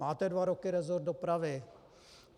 Máte dva roky resort dopravy.